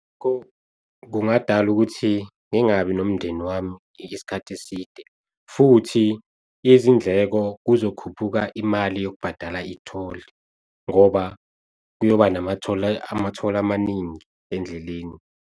Kungadala ukuthi ngingabi nomndeni wami isikhathi eside. Futhi izindleko kuzokhuphuka imali yokubhadala i-toll ngoba kuyoba nama-toll ama-toll amaningi endleleni.